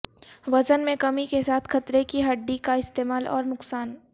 وزن میں کمی کے ساتھ خطرے کی ہڈی کا استعمال اور نقصان